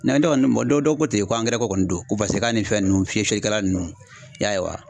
dɔ kɔni dɔ dɔ ko ten ko angɛrɛko kɔni don ko paseke k'a ni fɛn nunnu fiyɛlikɛlan nunnu i y'a ye wa.